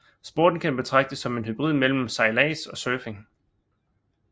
Sporten kan betragtes som en hybrid mellem sejlads og surfing